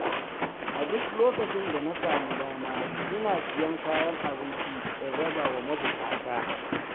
A duk lokacin da na sami dama, ina siyan kayan abinci in raba wa mabuƙata.